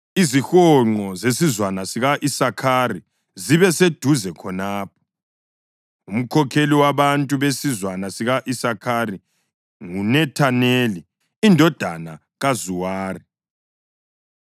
Izihonqo zesizwana sika-Isakhari zibe seduze khonapho. Umkhokheli wabantu besizwana sika-Isakhari nguNethaneli indodana kaZuwari.